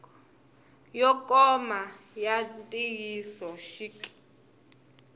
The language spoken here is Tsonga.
yo koma ya ntiyiso xik